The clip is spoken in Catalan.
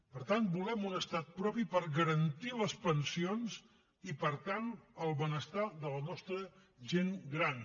per tant volem un estat propi per garantir les pensions i per tant el benestar de la nostra gent gran